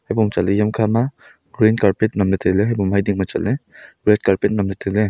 red carpet nem ley tai ley.